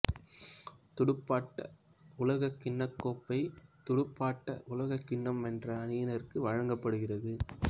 துடுப்பாட்ட உலகக்கிண்ணக் கோப்பை துடுப்பாட்ட உலகக்கிண்ணம் வென்ற அணியினருக்கு வழங்கப்படுகிறது